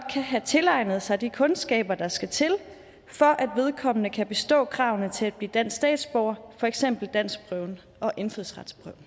kan have tilegnet sig de kundskaber der skal til for at vedkommende kan bestå kravene til at blive dansk statsborger for eksempel danskprøven og indfødsretsprøven